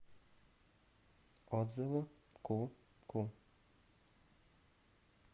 отзывы ку ку